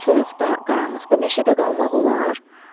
Bu soyuqda, qaranlıqda meşədə qalmaq olar?